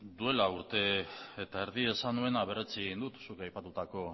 duela urte eta erdi esan nuen eta berretsi egin dut zuk aipatutako